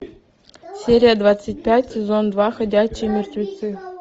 серия двадцать пять сезон два ходячие мертвецы